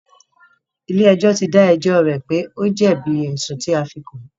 Ilé ẹjọ́ tí dá ẹjọ́ rẹ̀ wípé o jẹ̀bi ẹ̀sùn tí a fí kàn án.